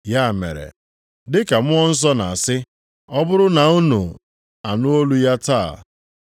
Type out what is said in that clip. Ya mere, dị ka Mmụọ Nsọ na-asị, “Ọ bụrụ na unu anụ olu ya taa,